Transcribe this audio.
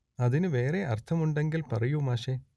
അതിനു വേറേ അർത്ഥം ഉണ്ടെങ്കിൽ പറയൂ മാഷേ